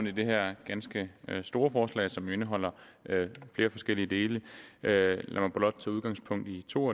i det her ganske store forslag som jo indeholder flere forskellige dele lad mig blot tage udgangspunkt i to